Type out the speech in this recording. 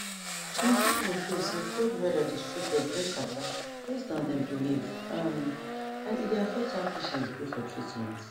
plenty people feel say cold weather dey straight up bring catarrh based on dem belief um and e dey affect how patient gree for treatment